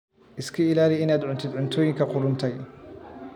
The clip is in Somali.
Iska ilaali inaad cuntid cuntooyinka qudhuntay.